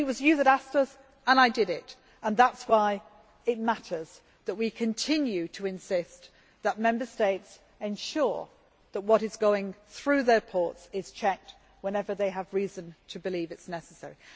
But it was you who asked us, and I did it, and that is why it matters that we continue to insist that Member States ensure that what is going through their ports is checked whenever they have reason to believe it is necessary.